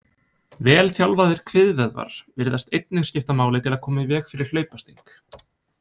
Vel þjálfaðir kviðvöðvar virðast einnig skipta máli til að koma í veg fyrir hlaupasting.